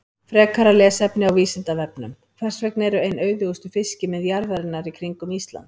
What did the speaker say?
Frekara lesefni á Vísindavefnum: Hvers vegna eru ein auðugustu fiskimið jarðarinnar í kringum Ísland?